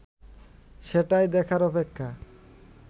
সেটাই দেখার অপেক্ষা